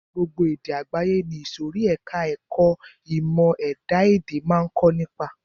Gbogbo èdè àgbáyé ni ìsòrí ẹka ẹ̀kọ́ ìmọ̀ ẹ̀dá-èdè máa ń kọ́ nípa.